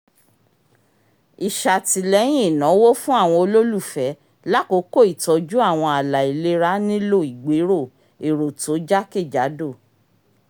isatìlẹ́yìn ìnáwó fún àwọn ololufẹ l'akoko ìtọjú àwọn ààlà ìlera nìlo igbero èrò tó jakejado